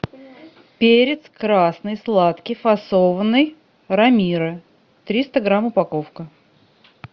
перец красный сладкий фасованный рамиро триста грамм упаковка